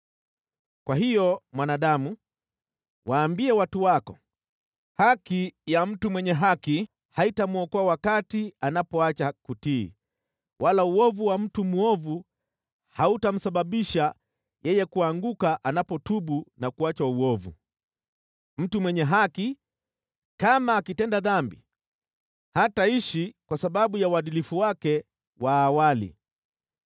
“Kwa hiyo, mwanadamu, waambie watu wako, ‘Haki ya mtu mwenye haki haitamwokoa wakati anapoacha kutii, wala uovu wa mtu mwovu hautamsababisha yeye kuanguka anapotubu na kuacha uovu. Mtu mwenye haki, kama akitenda dhambi, hataishi kwa sababu ya uadilifu wake wa awali.’